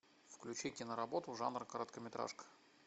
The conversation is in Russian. включи киноработу жанр короткометражка